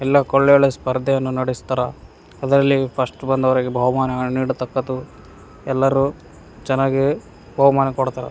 ಎಲ್ಲಕ್ ಒಳ್ಳೆ ಒಳ್ಳೆ ಸ್ಪರ್ಧೆಯನ್ನು ನಡೆಸ್ತಾರ ಅದ್ರಲ್ಲಿ ಫಸ್ಟ್ ಬಂದವರಿಗೆ ಬಹುಮಾನಗಳನ್ನು ನೀಡತಕ್ಕದ್ದು ಎಲ್ಲರೂ ಚೆನ್ನಾಗಿ ಬಹುಮಾನ ಕೊಡ್ತಾರಾ.